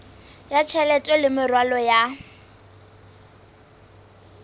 ya tjhelete le meralo ya